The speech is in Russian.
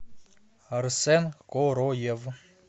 арсен короев